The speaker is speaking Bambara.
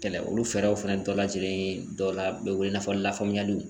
Kɛlɛ olu fɛɛrɛw fɛnɛ bɛɛ lajɛlen dɔ la be wele i n'a fɔ lafaamuyaliw